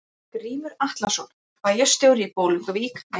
Grímur Atlason, bæjarstjóri í Bolungarvík: Bæjarútgerðin gamla?